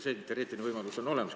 Ka see teoreetiline võimalus on olemas.